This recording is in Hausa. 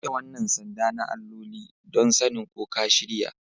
Ka rike wannan sanda na alloli, don sanin ko ka shirya